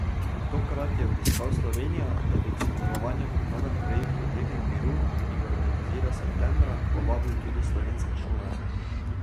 Tokrat je obiskal Slovenijo, da bi k sodelovanju pri novem projektu teden miru, ki ga organizira septembra, povabil tudi slovenske šolarje.